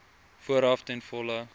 vooraf ten volle